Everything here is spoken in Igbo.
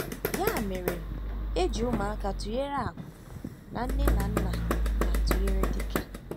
Ya mere, eji ụmụaka tụnyere àkú, na nne na nna na-atụnyere dike.